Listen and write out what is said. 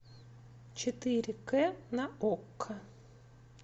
четыре кэ на окко